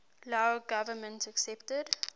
lao government accepted